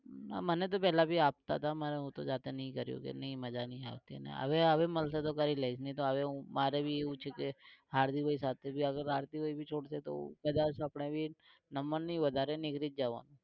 ના મન તો પેલા ભી આપતા તા. મે હું તો જાતે નઇ કરું કે નઇ મજા નઇ આવતી ને હવે હવે મલશે તો કરી લઇશ. હવે હું મારે ભી એવું છે કે હાર્દિક ભાઈ સાથે ભી અગર છોડ દે તો અપડે ભી number નઈ વધારે નીકળી જ જવાનું